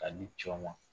K'a di cɛw ma